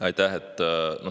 Aitäh!